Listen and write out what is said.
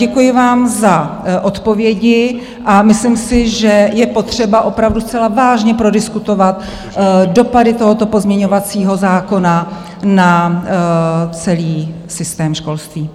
Děkuji vám za odpovědi a myslím si, že je potřeba opravdu zcela vážně prodiskutovat dopady tohoto pozměňovacího zákona na celý systém školství.